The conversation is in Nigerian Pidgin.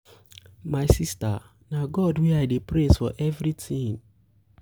my sister na god wey i dey praise for everything.